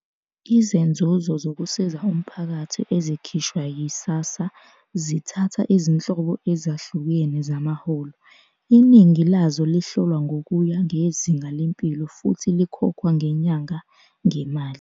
Izenzuzo zokusiza umphakathi ezikhishwa yi-SASSA zithatha izinhlobo ezahlukene zamaholo, iningi lazo lihlolwa ngokuya ngezinga lempilo futhi likhokhwa ngenyanga ngemali.